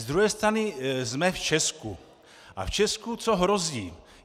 Z druhé strany - jsme v Česku a v Česku co hrozí?